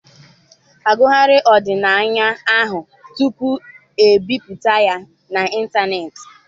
Agụgharịrị ọdịnaya ahụ tupu ebipụta ya n'ịntanetị.